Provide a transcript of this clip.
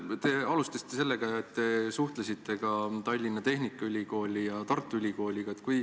Te alustasite sellega, et te suhtlesite ka Tallinna Tehnikaülikooli ja Tartu Ülikooliga.